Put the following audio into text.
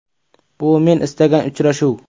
Bu men istagan uchrashuv.